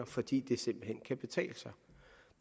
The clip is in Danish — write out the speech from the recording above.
fordi det simpelt hen kan betale sig